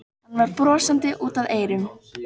Hann var brosandi út að eyrum.